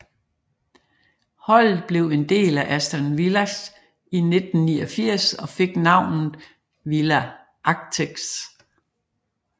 Holdet blev en del af Aston Villa i 1989 og fik navnet Villa Aztecs